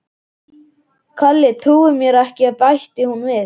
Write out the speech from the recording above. Kalli trúir mér ekki bætti hún við.